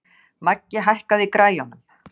Maggi, hækkaðu í græjunum.